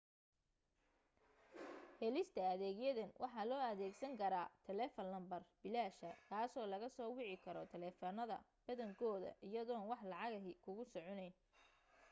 helista adeegyadan waxa loo adeegsan karaa taleefan lambar bilaasha kaasoo laga soo wici karo taleefanada badankooda iyadoon wax lacag ahi kugu soconeyn